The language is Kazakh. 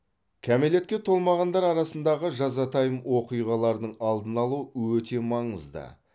кәмелетке толмағандар арасындағы жазатайым оқиғалардың алдын алу өте маңызды